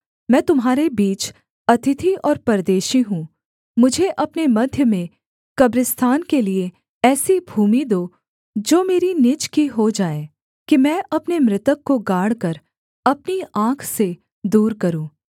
मैं तुम्हारे बीच अतिथि और परदेशी हूँ मुझे अपने मध्य में कब्रिस्तान के लिये ऐसी भूमि दो जो मेरी निज की हो जाए कि मैं अपने मृतक को गाड़कर अपनी आँख से दूर करूँ